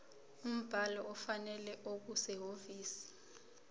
umbhalo ofanele okusehhovisi